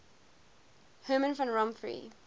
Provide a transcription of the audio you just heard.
herman van rompuy